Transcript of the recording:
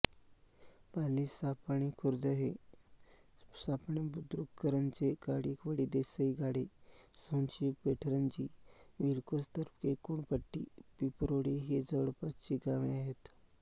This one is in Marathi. पालीसापणेखुर्द सापणेबुद्रुककरंजे काडिवळी देसईगाळे सोनशिव पेठरंजनी विळकोस तर्फे कोणपटी पिंपरोळी ही जवळपासची गावे आहेत